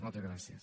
moltes gràcies